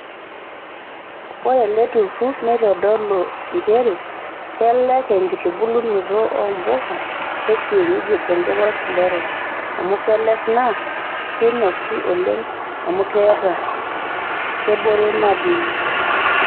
Ore eleturur neitodolu njere kelek enkitubulunoto oombuka ekienyeji tenkop olkila orok amu kelek naa keinosi oleng amukeeta kebore madini.